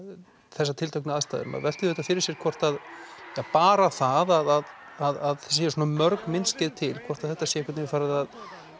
þessar tilteknu aðstæður maður veltir því fyrir sér hvort að bara það að séu svona mörg myndskeið til hvort þetta sé einhvern veginn farið að